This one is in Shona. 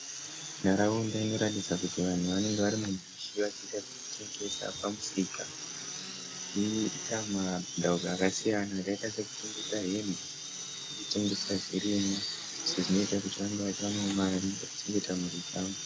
Nharaunda inoratidza kuti vanhu vanenge vari mubishi vachiita zvekutengesa pamusika vachiita mabhindauko akasiyana . Akaita sekutengesa hembe nekutengesa zvirimwa sezvinoita kuti vange vachiwanawo mari vachichengeta mhuri dzavo.